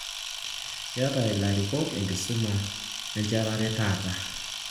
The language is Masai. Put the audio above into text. Keeta ilarikok enkisuma enchetare taata